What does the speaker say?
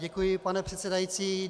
Děkuji, pane předsedající.